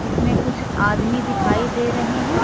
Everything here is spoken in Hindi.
इसमें कुछ आदमी दिखाई दे रहे हैं।